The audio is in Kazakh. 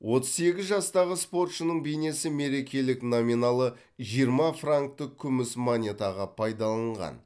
отыз сегіз жастағы спортшының бейнесі мерекелік номиналы жиырма франктік күміс монетаға пайдалынған